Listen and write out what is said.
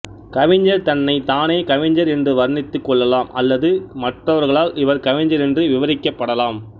கவிஞர் தன்னை தானே கவிஞர் என்று வர்ணித்துக் கொள்ளலாம் அல்லது மற்றவர்களால் இவர் கவிஞரென்று விவரிக்கப்படலாம்